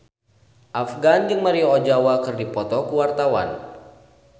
Afgan jeung Maria Ozawa keur dipoto ku wartawan